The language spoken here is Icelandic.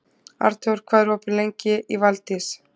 Arnþór, hvað er opið lengi í Valdís?